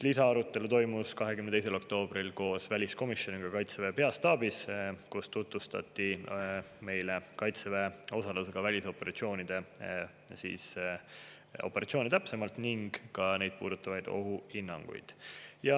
Lisaarutelu toimus 22. oktoobril koos väliskomisjoniga Kaitseväe peastaabis, kus meile tutvustati kaitseväe osalusega välisoperatsioone täpsemalt, sealhulgas neid puudutavaid ohuhinnanguid.